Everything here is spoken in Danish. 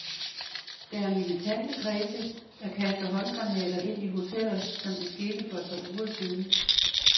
Der er militante kredse, der kaster håndgranater ind i hoteller, som det skete for et par uger siden.